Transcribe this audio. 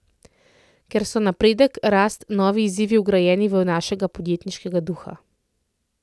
Ker so napredek, rast, novi izzivi vgrajeni v našega podjetniškega duha.